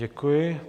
Děkuji.